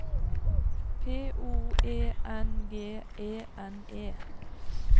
P O E N G E N E